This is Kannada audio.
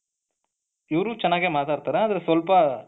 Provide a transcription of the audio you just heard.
ಇವ್ರು ಚೆನ್ನಾಗೇ ಮಾತಾಡ್ತಾರೆ ಆದ್ರೆ ಸ್ವಲ್ಪ